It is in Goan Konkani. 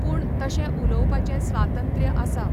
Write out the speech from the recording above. पूण तशें उलोवपाचे स्वातंत्र्य आसा.